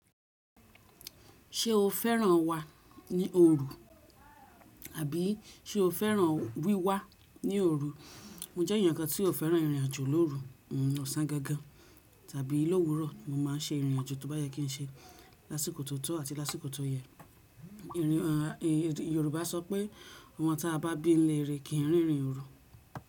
Ṣé o fẹ́ràn wà ní òru, àbí ṣe o fẹ́ràn wíwá ní òru? Mo jẹ́ èèyàn kan tí ó fẹ́ràn ìrìnàjò lóru. Ọ̀sán gangan tàbí lówurọ̀ mo má a n ṣe ìrìnàjò tí ó bá yẹ kí n ṣe lásìkò tó tọ́ àti lásìkò tó yẹ. Yorùbá sọ pé “ọmọ táa bá bí ni'léere kìí rin ìrìn òru”.